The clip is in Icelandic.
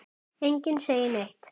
Enginn segir neitt.